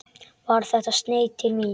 Var þetta sneið til mín?